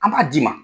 An b'a d'i ma